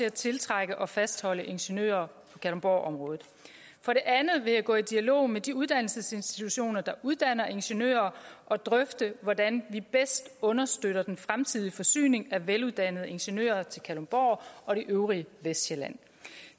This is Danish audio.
at tiltrække og fastholde ingeniører i kalundborgområdet for det andet vil jeg gå i dialog med de uddannelsesinstitutioner der uddanner ingeniører og drøfte hvordan vi bedst understøtter den fremtidige forsyning af veluddannede ingeniører til kalundborg og det øvrige vestsjælland